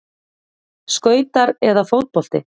Skautar eða fótbolti?